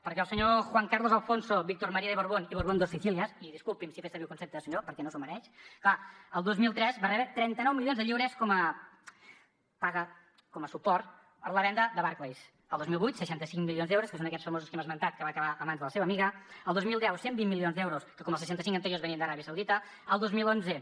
perquè el senyor juan carlos alfonso víctor maría de borbón y borbón dos sicilias i disculpi’m si he fet servir el concepte de senyor perquè no s’ho mereix clar el dos mil tres va rebre trenta nou milions de lliures com a paga com a suport per la venda de barclays el dos mil vuit seixanta cinc milions d’euros que són aquests famosos que hem esmentat que van acabar a mans de la seva amiga el dos mil deu cent i vint milions d’euros que com els seixanta cinc anteriors venien d’aràbia saudita el dos mil onze